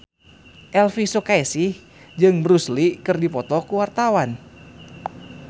Elvy Sukaesih jeung Bruce Lee keur dipoto ku wartawan